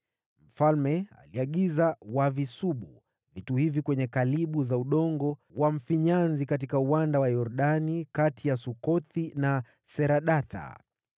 Mfalme aliagiza wavisubu vitu hivi kwenye kalibu za udongo wa mfinyanzi katika uwanda wa Yordani kati ya Sukothi na Sereda.